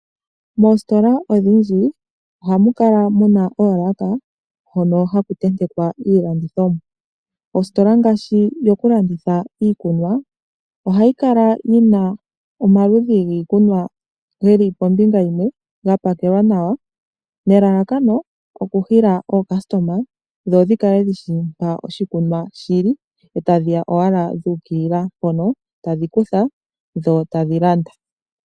Moositola odhindji ohamuka muna oolaka, hono haku tentekwa iilandithomwa. Oositola ngaashi dhokulanditha iikunwa, ohadhi kala dhina omaludhi giikunwa ngeli kombinga yimwe gapakelwa nawa nelalakano okuhila aalandi dho dhikale dhishi mpa puna iikunwa, opo dhiye ashike dhuukilila piikunwa mbi dha hala, dho tadhi landa.